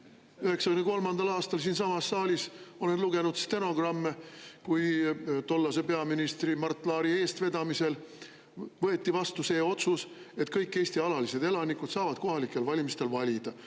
1993. aastal siinsamas saalis – olen lugenud stenogramme – võeti tollase peaministri Mart Laari eestvedamisel vastu otsus, et kõik Eesti alalised elanikud saavad kohalikel valimistel valida.